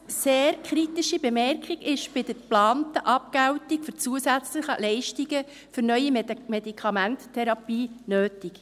Eine doch kritische Bemerkung ist bei der geplanten Abgeltung für zusätzliche Leistungen für neue Medikamententherapien nötig.